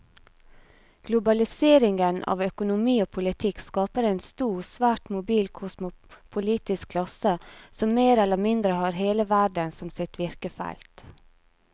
Globaliseringen av økonomi og politikk skaper en stor, svært mobil kosmopolitisk klasse som mer eller mindre har hele verden som sitt virkefelt.